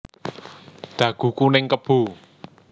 Dagu kuning kebo